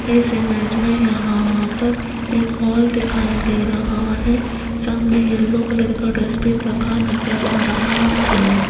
इस इमेज में यहां पर एक हाल दिखाई दे रहा है सामने येलो कलर का डस्टबिन रखा नजर आ रहा है।